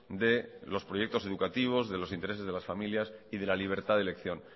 de los proyectos educativos de los intereses de las familias y de la libertad de elección